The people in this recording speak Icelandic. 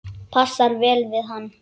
Passar vel við hann.